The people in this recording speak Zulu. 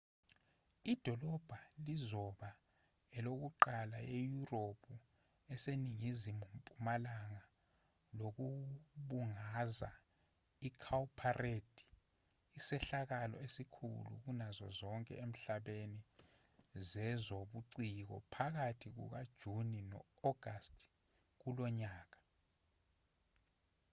idolobha lizoba elokuqala eyurophu eseningizimu mpumalanga lokubungaza icowparade isehlakalo esikhulu kunazo zonke emhlabeni zezobuciko phakathi kukajuni no-agasti kulonyaka